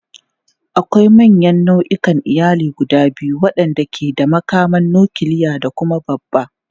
Akwai manyan nau'ikan iyali guda biyu waɗanda ke da makaman nukiliya da kuma babba.